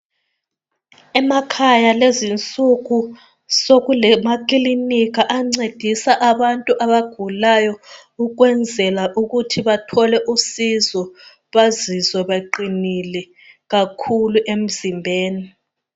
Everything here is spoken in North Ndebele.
Emakhaya lezinsuku sokulama kilinika ancedisa abantu abagulayo ukwenzela ukuthi bathole usizo bazizwe baqinile kakhulu emzimbeni